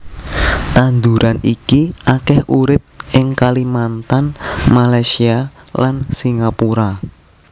Tanduran iki akèh urip ing Kalimantan Malaysia lan Singapura